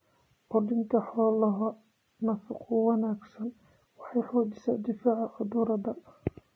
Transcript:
Quudinta xoolaha nafaqo wanaagsan waxay xoojisaa difaaca cudurada.